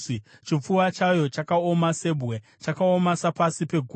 Chipfuva chayo chakaoma sebwe, chakaoma sapasi peguyo.